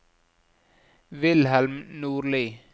Wilhelm Nordli